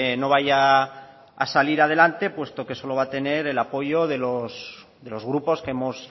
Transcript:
no vaya a salir adelante puesto que solo va a tener el apoyo de los grupos que hemos